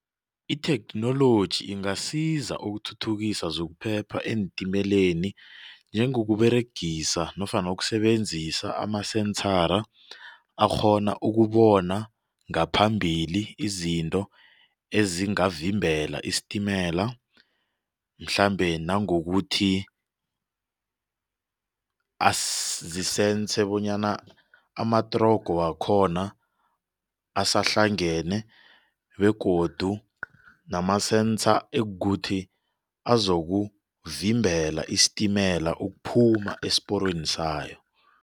Itheknoloji ingasiza ukuthuthukisa zokuphepha eentimeleni njengokuberegisa nofana ukusebenzisa amasensara akghona ukubona ngaphambili izinto ezingavimbela isitimela. Mhlambe nangokuthi zisense bonyana amatrogo wakhona asahlangane begodu nama-sensor ekukuthi azokuvimbela isitimela ukuphuma esiporweni sayo.